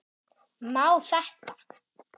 Má þetta?